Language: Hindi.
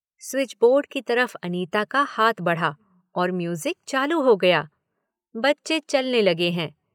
स्विच बोर्ड की तरफ़ अनिता का हाथ बढ़ा और म्यूज़िक चालू हो गया। बच्चे चलने लगें हैं।